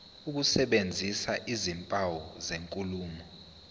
ukusebenzisa izimpawu zenkulumo